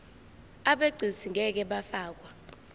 abegcis ngeke bafakwa